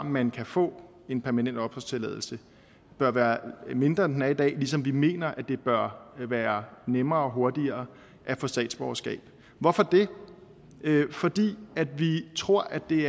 man kan få en permanent opholdstilladelse bør være mindre end den er i dag ligesom vi mener at det bør være nemmere og hurtigere at få statsborgerskab hvorfor det fordi vi tror at det